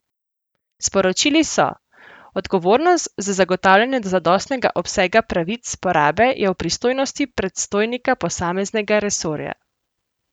Sporočili so: "Odgovornost za zagotavljanje zadostnega obsega pravic porabe je v pristojnosti predstojnika posameznega resorja.